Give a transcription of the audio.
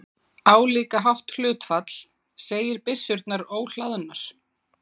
Álíka hátt hlutfall segir byssurnar óhlaðnar.